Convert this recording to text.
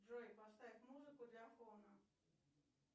джой поставь музыку для фона